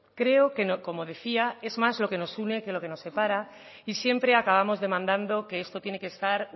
creo que como decía es más lo que nos une que lo que nos separa y siempre acabamos demandando que esto tiene que estar